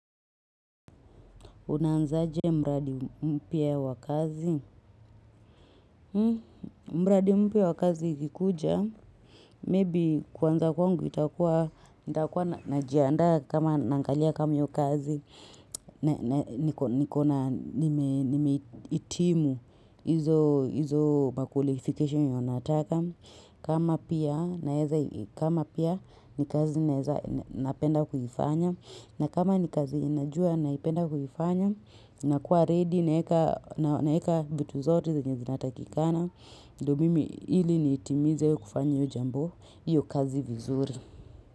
Unaanzaje mradi mpya wa kazi? Mradi mpya ya wa kazi ikikuja, kwanza kwangu, nitakua ninajiandaa kama naangalia kama hiyo kazi, nimehitimu hizo mahitaji inayotakikana. Kama pia, naeza, kama pia ni kazi naeza, napenda kuifanya. Na kama ni kazi najua naipenda kuifanya, nakuwa "ready" naeka vitu zote yenye zinatakikana ndio mimi ili niitimize kufanya jambo au hiyo kazi vizuri.